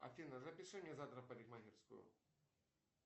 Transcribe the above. афина запиши меня завтра в парикмахерскую